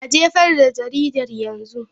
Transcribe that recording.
A jefar da jaridar yanzu!